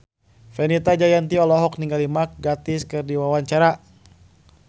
Fenita Jayanti olohok ningali Mark Gatiss keur diwawancara